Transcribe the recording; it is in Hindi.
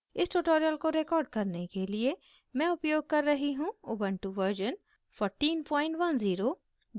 इस tutorial को record करने के लिए मैं उपयोग कर रही हूँ ubuntu version 1410